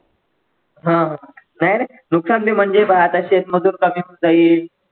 हा नाही रे नुकसान बी म्हणजे बघ आता शेत मजूर कमी होऊन जाईल.